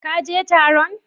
Ka je Taron?